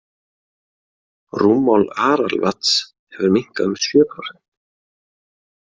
Rúmmál Aralvatns hefur minnkað um sjö prósent.